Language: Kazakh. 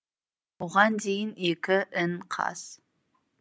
оған дейін екі ін қаз